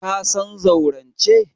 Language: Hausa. Ka san zaurance?